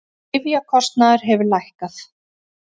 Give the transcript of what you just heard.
Lyfjakostnaður hefur lækkað